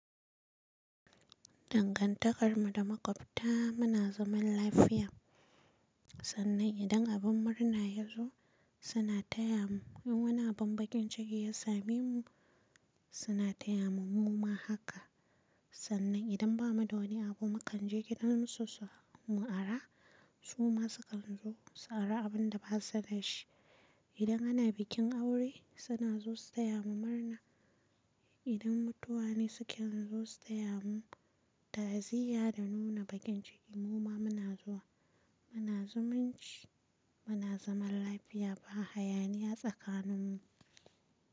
Dangantakar mu da makwabta muna zaman lafiya. Sannan idan abin murna ya zo suna taya mu, in wani abin bakin ciki ya same mu suna taya mu muma haka. Sannan idan bamu da wani abu mu kan je gidansu su mu ara su ma su kan zo su ara abun da ba su da shi. Idan ana bikin aure suna zo su taya mu murna. Idan mutuwa ne sukan zo su taya mu ta'aziyya da nuna bakin ciki muma muna zuwa. Muna zumunci muna zaman lafiya ba hayaniya tsakanin mu.